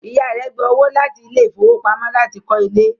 Ìyá rẹ̀ gba owó láti ilé ìfowópamọ́ láti kọ́ ilé